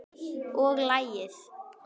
Og lagið?